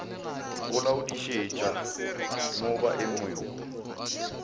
go laodišetša mo ba emego